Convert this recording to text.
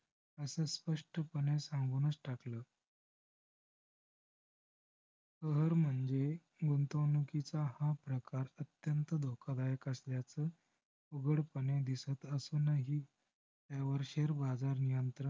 कहर म्हणजे गुंतवणुकीचा हा प्रकार अत्यंत धोकादायक असल्याचं उघडपणे दिसत असूनही त्यावर share बाजार नियंत्रण